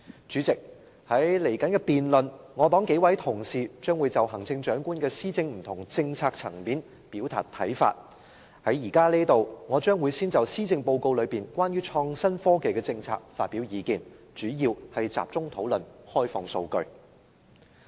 主席，在稍後的辯論中，我黨數名同事將會就行政長官施政的不同政策層面表達看法，現在我會先就施政報告有關創新科技的政策發表意見，主要集中討論開放數據。